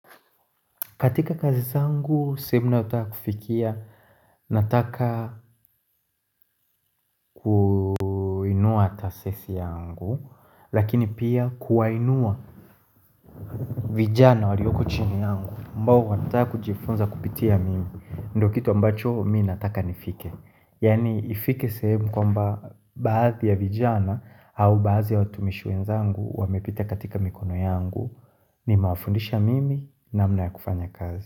Katika kazi zangu, sehemu nayo taka kufikia, nataka kuinua tasesi yangu, lakini pia kuwainua vijana walioko chini yangu, ambao wanataka kujifunza kupitia mimi, ndo kitu ambacho mi nataka nifike. Yani ifike sehemu kwamba baadhi ya vijana, au baadhi ya watumishi wenzangu, wamepita katika mikono yangu, nime wafundisha mimi namna ya kufanya kazi.